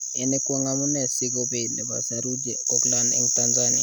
Ini kwang amune si ko bei nepo saruji koklayn en Tanzania